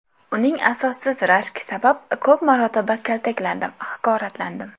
Uning asossiz rashki sabab ko‘p marotaba kaltaklandim, haqoratlandim.